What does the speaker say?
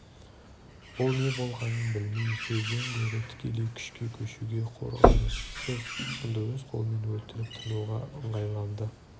ол не болғанын білмей сөзден гөрі тікелей күшке көшуге қорғаныссыз тұтқынды өз қолымен өлтіріп тынуға ыңғайланды